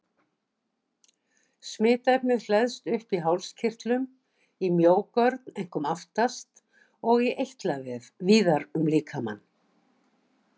Smitefnið hleðst upp í hálskirtlum, í mjógörn, einkum aftast, og í eitlavef víðar um líkamann.